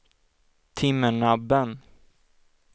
Timmernabben